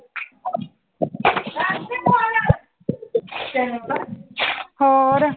ਹੋਰ?